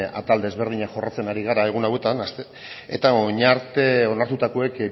atal desberdinak jorratzen ari gara egun hauetan eta orain arte onartutakoek